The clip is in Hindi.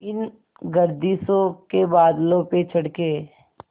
इन गर्दिशों के बादलों पे चढ़ के